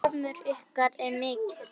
Harmur ykkar er mikill.